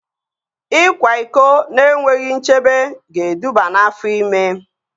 Ịkwa iko na-enweghị nchebe ga-eduba n'afọ ime